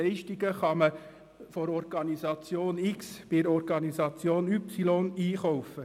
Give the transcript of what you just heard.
Leistungen kann man bei der Organisation X oder bei der Organisation Y einkaufen.